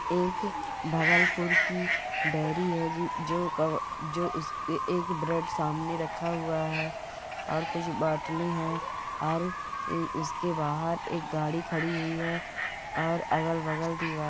एक भगलपुर की डेरी है ज- ज जो का- जो उसके एक ब्रेड सामने रखा हुआ है और कुछ बॉटलें है और उसके बाहर एक गाड़ी खड़ी हुई है और अगल-बगल दीवार--